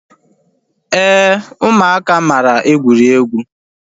Éè ụmụaka mara egwuregwu